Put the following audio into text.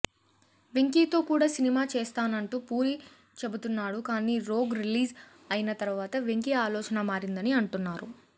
వెంకీతో కూడా సినిమా చేస్తానంటూ పూరి చెబుతున్నాడు కానీ రోగ్ రిలీజ్ అయిన తర్వాత వెంకీ ఆలోచన మారిందని అంటున్నారు